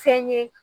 Fɛn ye